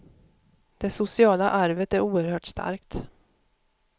Det sociala arvet är oerhört starkt.